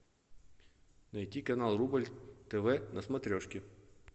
найди канал рубль тв на смотрешке